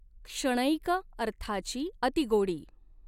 क्षणैक अर्थाची अतिगोडी।